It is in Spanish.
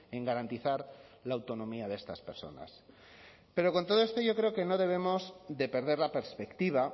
en garantizar la autonomía de estas personas pero con todo esto yo creo que no debemos de perder la perspectiva